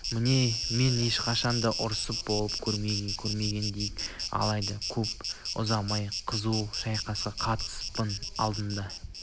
міне мен ешқашан да ұрыста болып көрмеген дейік алайда көп ұзамай қызу шайқасқа қатыспақпын алдыма